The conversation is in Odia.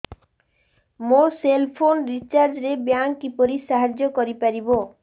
ମୋ ସେଲ୍ ଫୋନ୍ ରିଚାର୍ଜ ରେ ବ୍ୟାଙ୍କ୍ କିପରି ସାହାଯ୍ୟ କରିପାରିବ